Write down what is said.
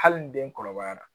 Hali ni den kɔrɔbayara